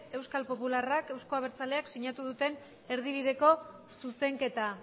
euskal popular eta euzko abertzaleak sinatu duten erdibideko zuzenketa